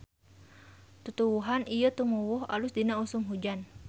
Tutuwuhan ieu tumuwuh alus dina usum hujan.